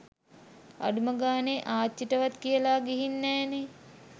අඩුම ගාණෙ ආච්චිටවත් කියල ගීහින් නෑනෙ.